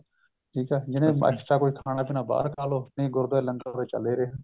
ਠੀਕ ਆ ਜਿਹਨੇ extra ਕੋਈ ਖਾਣਾ ਪੀਣਾ ਬਾਹਰ ਖਾ ਲਓ ਨਹੀਂ ਗੁਰੁਦਵਾਰੇ ਲੰਗਰ ਤਾਂ ਚੱਲ ਰਿਹਾ